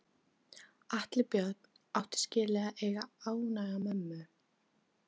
Atli Björn átti skilið að eiga ánægða mömmu.